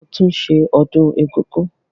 A máa tún ṣe ọdún egúngún.